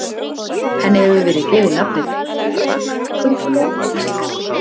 Henni hefur verið gefið nafnið fraktkönguló á íslensku.